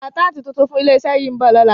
Àkáńtátì tuntun fún ilé-iṣẹ́ yìí ń bọ̀ lọ́la.